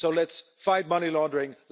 So let's fight money laundering.